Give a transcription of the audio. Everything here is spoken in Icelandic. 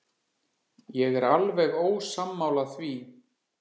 Ég er alveg ósammála því.